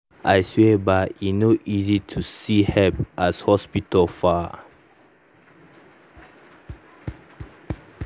i swear bah e no no easy to see help as hospital far